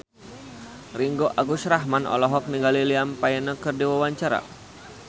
Ringgo Agus Rahman olohok ningali Liam Payne keur diwawancara